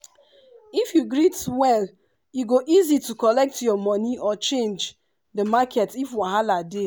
if you you greet well e go easy to collect your moni or change the market if wahala dey.